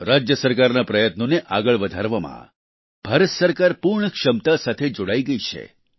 રાજ્ય સરકારના પ્રયત્નોને આગળ વધારવામાં ભારત સરકાર પૂર્ણ ક્ષમતા સાથે જોડાઈ ગઈ છે